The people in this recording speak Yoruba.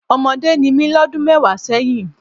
Ọmọdé ni mí lọ́dún mẹ́wàá sẹ́yìn.